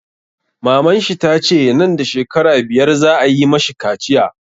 Maman shi tace nan da shekara biyar za a yi mashi kaciya